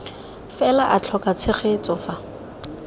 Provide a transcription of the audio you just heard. fela a tlhoka tshegetso fa